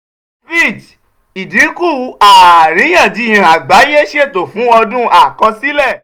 fitch: ìdínkù àìríyànjiyàn àgbáyé ṣètò fún ọdún àkọsílẹ̀